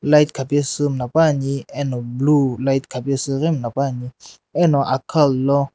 light khapesu mulapani ano blue light khapesu ghi mulapani eno akkhalalo.